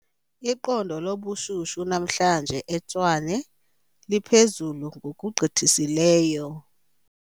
Iqondo lobushushu namhlanje eTshwane liphezulu ngokugqithisileyo.